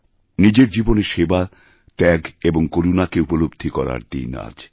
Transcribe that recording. নিজের জীবনে সেবা ত্যাগ এবং করুণাকে উপলব্ধি করার দিন আজ